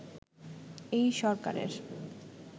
এই সরকারের